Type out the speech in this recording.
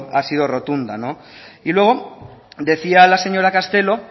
ha sido rotunda y luego decía la señora castelo